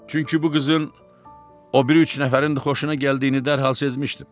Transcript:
Çünki bu qızın o biri üç nəfərin də xoşuna gəldiyini dərhal sezmişdim.